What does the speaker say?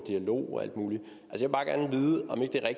mulighed